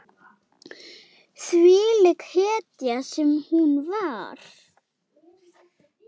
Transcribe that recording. Þvílík hetja sem hún var.